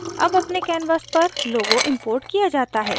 अब अपने canvas पर logo imported किया जाता है